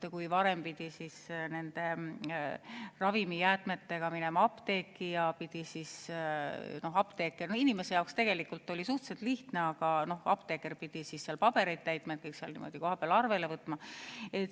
Kui praegu peab ravimijäätmetega minema apteeki, siis apteeker peab seal pabereid täitma, kõik kohapeal arvele võtma.